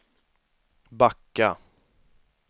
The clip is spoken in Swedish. backa